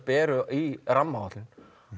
eru í rammaáætlun